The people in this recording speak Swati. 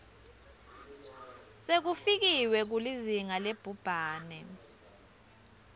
sekufikiwe kulizinga labhubhane